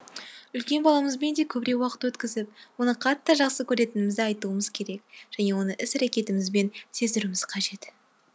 үлкен баламызбен де көбірек уақыт өткізіп оны қатты жақсы көретінімізді айтуымыз керек және оны іс әрекетімізбен сездіруіміз қажет